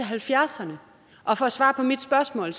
halvfjerdserne og for at svare på mit spørgsmål